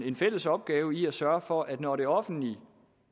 en fælles opgave i at sørge for at når det offentlige